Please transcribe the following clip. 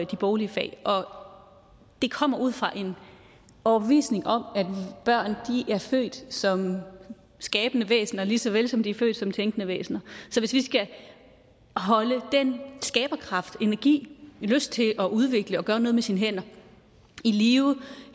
de boglige fag og det kommer ud fra en overbevisning om at børn er født som skabende væsener lige så vel som de er født som tænkende væsener så hvis vi skal holde den skaberkraft den energi den lyst til at udvikle og gøre noget med sine hænder i live